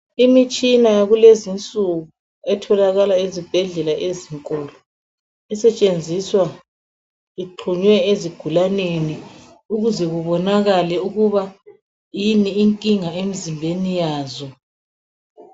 Imitshina yakulezinsuku etholakala ezibhedlela ezinkulu esetshenziswa iqunwe ezigulaneni ukuze kubonakale ukuba inye inkinga emzimbeni yazo